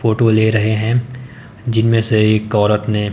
photo ले रहे हैं जिनमें से एक औरत ने--